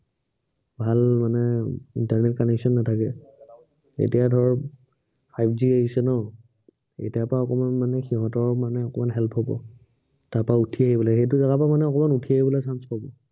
ভাল মানে internet connection নাথাকে। এতিয়া ধৰক five G আহিছে ন, এতিয়াৰ পৰা অকনমান মানে সিহঁতৰ মানে অকনমান help হব। তাৰপৰা উঠি আহিব লাগিব, সেইটো জেগাৰ পৰা মানে অকনমান উঠি আহিবলৈ chance পাব।